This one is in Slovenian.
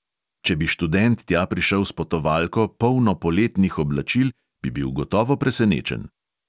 Če bi študent tja prišel s potovalko, polno poletnih oblačil, bi bil gotovo presenečen.